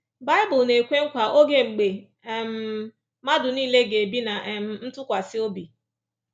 Bible na-ekwe nkwa oge mgbe um mmadụ nile ‘ga-ebi ná um ntụkwasị obi’